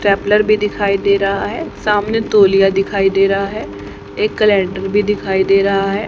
ट्रैपलर भी दिखाई दे रहा है सामने तोलिया दिखाई दे रहा है एक कैलेंडर भी दिखाई दे रहा है।